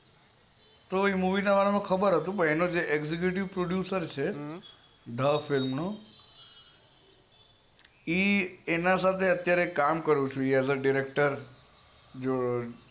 તો એ movie ના બાબત માં ખબર હતી એનો જે executive producer છે ઢ film નો એ એના સાથે કામ કરું છુ